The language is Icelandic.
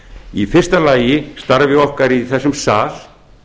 í fyrsta lagi starfs okkar í þessum sal